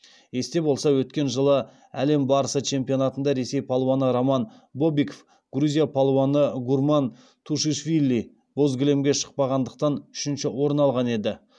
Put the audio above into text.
есте болса өткен жылғы әлем барысы чемпионатында ресей палуаны роман бобиков грузия палуаны гурам тушишвили боз кілемге шықпағандықтан үшінші орын алған еді